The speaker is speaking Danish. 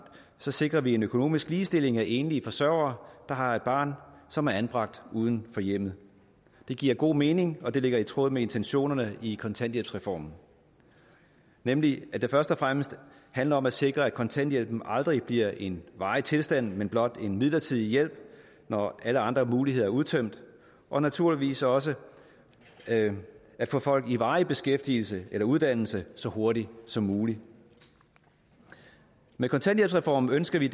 så sikrer vi en økonomisk ligestilling af enlige forsørgere der har et barn som er anbragt uden for hjemmet det giver god mening og det ligger i tråd med intentionerne i kontanthjælpsreformen nemlig at det først og fremmest handler om at sikre at kontanthjælpen aldrig bliver en varig tilstand men blot en midlertidig hjælp når alle andre muligheder er udtømt og naturligvis også at få folk i varig beskæftigelse eller uddannelse så hurtigt som muligt med kontanthjælpsreformen ønsker vi